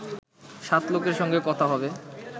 সাত লোকের সঙ্গে কথা হবে